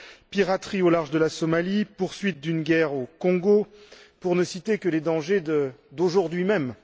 piraterie au large de la Somalie, poursuite d'une guerre au Congo, pour ne citer que les dangers d'aujourd'hui même.